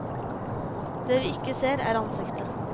Det vi ikke ser er ansiktet.